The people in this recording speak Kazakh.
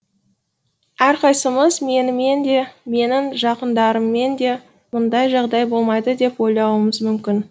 әрқайсымыз менімен де менің жақындарыммен де мұндай жағдай болмайды деп ойлауымыз мүмкін